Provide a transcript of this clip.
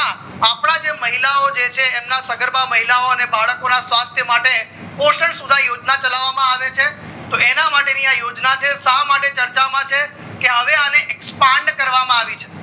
ત્યાં અપડા જે મહિલા ઓ જે છે એમના સગર્બા મહિલા ઓને બાળકોને સ્કાસ્થા માટે પોષણ સુધ યોજના ચાલવામાં આવે છે તો એના માટે નિઆ યોજના છે જે શા માટે ચર્ચા માં છે કે હાવી અને expand કરવા માં આવી છે